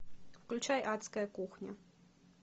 включай адская кухня